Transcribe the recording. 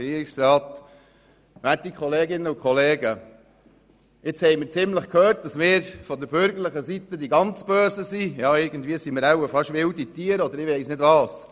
Jetzt haben wir ziemlich oft gehört, dass wir von der bürgerlichen Seite die ganz Bösen sind, ja irgendwie sind wir schon fast wilde Tiere, oder ich weiss nicht was.